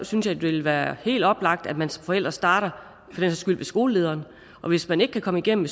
synes det vil være helt oplagt at man som forældre starter ved skolelederen og hvis man ikke kan komme igennem